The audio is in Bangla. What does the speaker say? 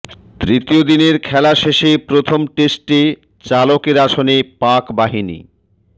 তৃতীয় দিনের খেলা শেষে প্রথম টেস্টে চালকের আসনে পাকবাহিনী